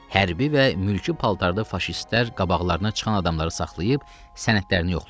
Hərbi və mülki paltarda faşistlər qabaqlarına çıxan adamları saxlayıb sənədlərini yoxlayırdılar.